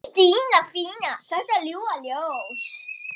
Stína, þetta ljúfa ljós.